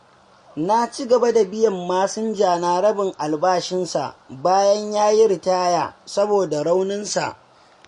Na ci gaba da biyan masinjana rabin albashinsa, bayan yayi ritaya, saboda rauninsa.